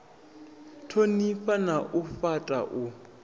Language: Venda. thonifha na u fhata u